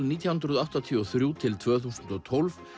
nítján hundruð áttatíu og þrjú til tvö þúsund og tólf